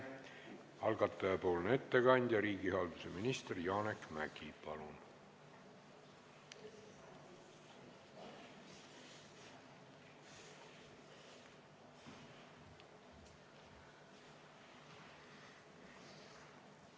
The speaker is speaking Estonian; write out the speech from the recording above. Algataja ettekandja, riigihalduse minister Janek Mäggi, palun!